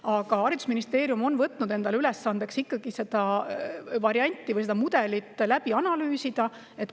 Aga haridusministeerium on võtnud endale ülesandeks ikkagi see variant või mudel läbi analüüsida.